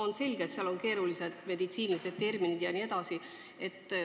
On selge, et seal on tegu keeruliste meditsiiniterminitega.